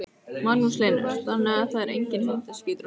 Magnús Hlynur: Þannig að það er enginn hundaskítur á Selfossi?